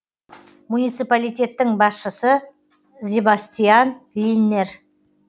муниципалитеттің басшысы зебастиан линнер